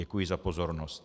Děkuji za pozornost.